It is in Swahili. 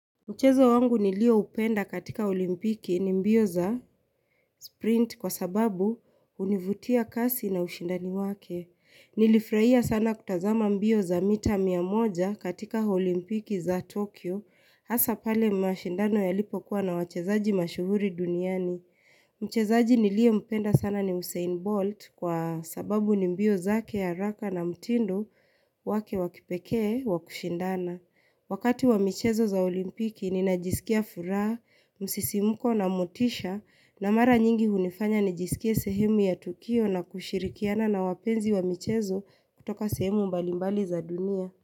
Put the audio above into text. Mchezo wangu nilioupenda katika olimpiki ni mbio za sprint kwa sababu hunivutia kasi na ushindani wake. Nilifurahia sana kutazama mbio za mita mia moja katika olimpiki za Tokyo. Asa pale mashindano yalipokuwa na wachezaji mashuhuri duniani. Mchezaji niliyeupenda sana ni Usain Bolt kwa sababu ni mbio zake haraka na mtindo wake wa kipekee wa kushindana. Wakati wa michezo za olimpiki ninajisikia furaha, msisimuko na motisha na mara nyingi hunifanya nijisikia sehemu ya Tukio na kushirikiana na wapenzi wa michezo kutoka sehemu mbalimbali za dunia.